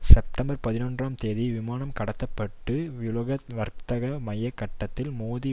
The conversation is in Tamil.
செப்டம்பர் பதினொறாம் தேதி விமானம் கடத்த பட்டு உலக வர்த்தக மைய கட்டடத்தில் மோதி